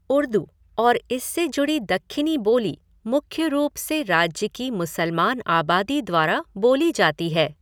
उर्दू और इससे जुड़ी दक्खिनी बोली मुख्य रूप से राज्य की मुसलमान आबादी द्वारा बोली जाती है।